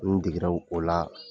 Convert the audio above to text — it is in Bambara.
N'i degera o la